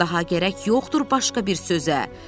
Daha gərək yoxdur başqa bir sözə.